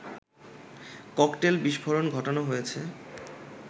cocktail বিস্ফোরণ ঘটানো হয়েছে